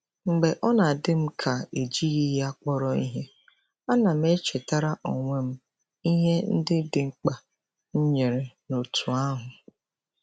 Mgbe ọ na-adị m ka ejighị ya kpọrọ ihe, ana m echetara onwe m ihe ndị dị mkpa m nyere n’òtù ahụ.